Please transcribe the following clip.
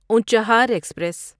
Unchahar express